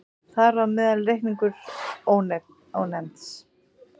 Þar á meðal reikningurinn Ónefnds.